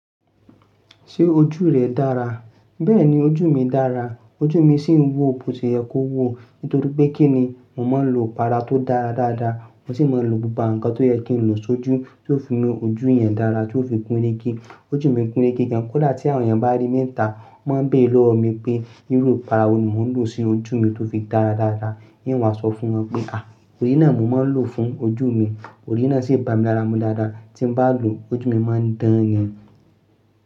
Ṣé ojú rẹ dára? Bẹ́ẹ̀ni ojú mi dára, ojú mi sì ń wò bó ti yẹ kó wò nítorí pé kí ni, mo máa ń lo para tó dára dáadáa, mo sì máa ń lo gbogbo ǹkan tó yẹ kí n lo sójú tí ó fi mú ojú yẹn dára, tí ó fi gun rege. Ojú mi gurege gan, kódà tí àwọn èèyàn bá rí mi níta, wọ́n máa ń béèrè lọ́wọ́ mi pé irú para wo ni mò ń lò sí ojú mi tó fi dára dáadáa. Yín wa sọ fún wọn pé à, òrí náà mo máa ń lò fún ojú mi, òrí náà sì bà mí lára mú dáadáa, tí n bá lò ọjú mi máa ń dán ni.